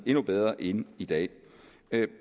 endnu bedre end i dag